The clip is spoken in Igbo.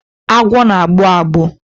Agwọ na-agbụ agbụ.